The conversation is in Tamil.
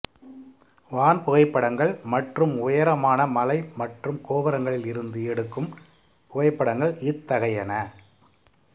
வான் புகைப்படங்கள் மற்றும் உயரமான மலை மற்றும் கோபுரங்களில் இருந்து எடுக்கும் புகைப்படங்கள் இத்தகையன